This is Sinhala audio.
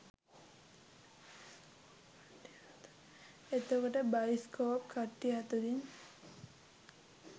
එතකොට බයිස්කෝප් කට්ටිය අතුරින්